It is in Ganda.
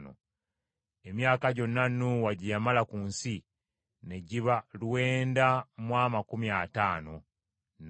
Emyaka gyonna Nuuwa, gye yamala ku nsi ne giba lwenda mu amakumi ataano, n’afa.